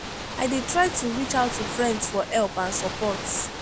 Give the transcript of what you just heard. i dey try to reach out to friends for help and support.